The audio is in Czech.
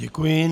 Děkuji.